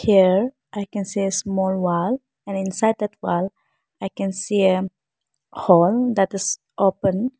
Here I can see a small wall and inside that wall I can see a hall that is open.